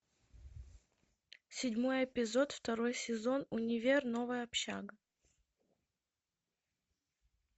седьмой эпизод второй сезон универ новая общага